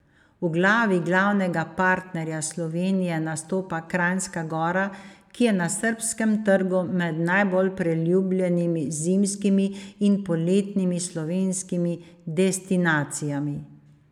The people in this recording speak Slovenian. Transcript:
V vlogi glavnega partnerja Slovenije nastopa Kranjska Gora, ki je na srbskem trgu med najbolj priljubljenimi zimskimi in poletnimi slovenskimi destinacijami.